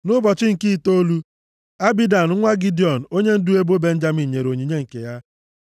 Nʼụbọchị nke itoolu, Abidan nwa Gidiọn onyendu ebo Benjamin nyere onyinye nke ya.